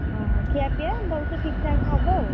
ଓହୋଃ ଖିଆପିୟା ଭଲସେ ଠିକ୍ ଠାକ୍ ହବ ଆଉ,